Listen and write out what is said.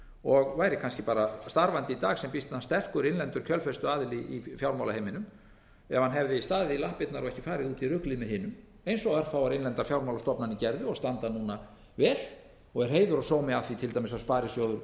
og væri kannski bara starfandi í dag sem býsna sterkur innlendur kjölfestuaðili í fjármálaheiminum ef hann hefði staðið í lappirnar og ekki farið út í ruglið með hinum eins og örfáar innlendar fjármálastofnanir gerðu og standa núna vel og er heiður og sómi af því til dæmis að sparisjóður suður